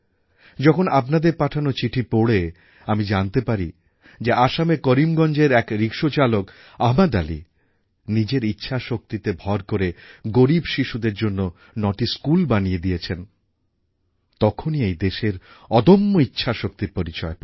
যখন আপনাদের পাঠানো চিঠি পড়ে আমি জানতে পারি যে আসামের করিমগঞ্জের এক রিক্সাচালক আহমদ আলি নিজের ইচ্ছাশক্তিতে ভর করে গরীব শিশুদের জন্য নয়টি স্কুল বানিয়ে দিয়েছেন তখনই এই দেশের অদম্য ইচ্ছাশক্তির পরিচয় পাই